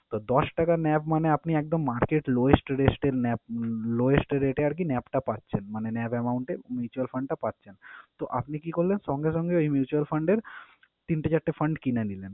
তো, দশ টাকা NAV মানে আপনি একদম market lowest rest এ NAV lowest rate এ আরকি NAV টা পাচ্ছেন মানে NAV amount এ mutual fund টা পাচ্ছেন। তো, আপনি কি করলেন? সঙ্গে সঙ্গে ওই mutual fund এর তিনটা, চারটা fund কিনে নিলেন।